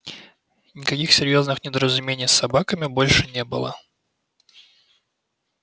никаких серьёзных недоразумений с собаками больше не было